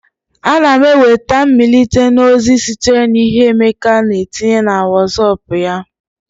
Ana m enweta mmelite na ozi sitere na ihe Emeka na etinye na Wosop ya